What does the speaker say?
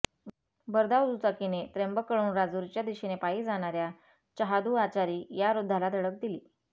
भरधाव दुचाकीने त्र्यंबककडून राजूरच्या दिशेने पायी जाणार्या चहादू आचारी या वृद्धाला धडक दिली